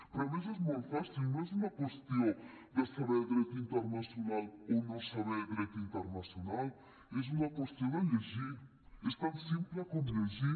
però a més és molt fàcil no és una qüestió de saber dret internacional o no saber dret internacional és una qüestió de llegir és tan simple com llegir